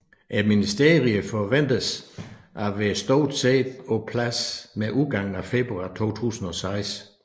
Ministerierne forventedes at være stort set på plads med udgangen af februar 2006